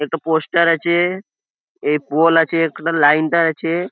এট poster আছে-এ এই pole আছে একটা লাইন টা আছে।